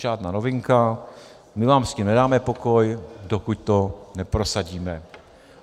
Žádná novinka, my vám s tím nedáme pokoj, dokud to neprosadíme.